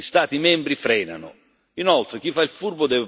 Anche su questo gli Stati membri frenano.